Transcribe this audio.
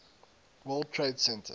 world trade center